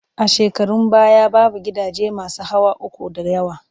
A shekarun baya, babu gidaje masu hawa uku da yawa